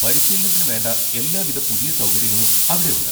പരിശീലനത്തിന് വേണ്ട എല്ലാവിധ പുതിയ സൗകര്യങ്ങളും അവിടെ ഉണ്ട്.